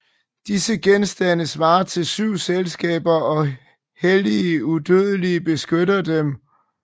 Disse genstande svarer til 7 skabelser og hellige udødelige beskytter dem